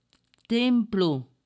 Templu.